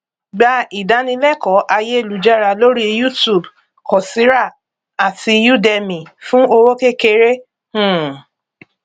gba ìdánilẹkọọ ayélujára lórí youtube coursera àti udemy fún owó kékeré um